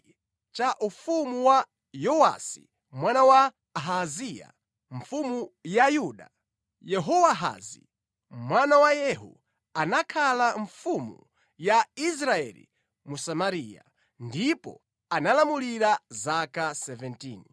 Mʼchaka cha 23 cha ufumu wa Yowasi mwana wa Ahaziya mfumu ya Yuda, Yehowahazi, mwana wa Yehu anakhala mfumu ya Israeli mu Samariya, ndipo analamulira zaka 17.